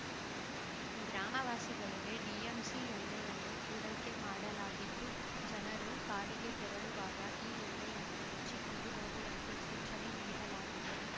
ಗ್ರಾಮವಾಸಿಗಳಿಗೆ DMC ಎಣ್ಣೆಯನ್ನು ಪೂರೈಕೆ ಮಾಡಲಾಗಿದ್ದು ಜನರು ಕಾಡಿಗೆ ತೆರಳುವಾಗ ಈ ಎಣ್ಣೆಯನ್ನು ಹಚ್ಚಿಕೊಂಡು ಹೋಗುವಂತೆ ಸೂಚನೆ ನೀಡಲಾಗಿದೆ